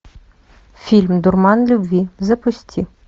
фильм дурман любви запусти